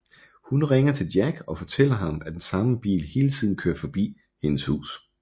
Hun ringer til Jack og fortæller ham at den samme bil hele tiden kører forbi hendes hus